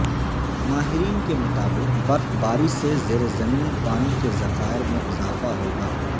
ماہرین کے مطابق برفباری سے زیر زمین پانی کے ذخائر میں اضافہ ہوگا